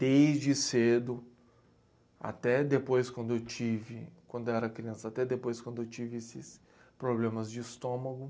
Desde cedo, até depois quando eu tive, quando eu era criança, até depois quando eu tive esses problemas de estômago.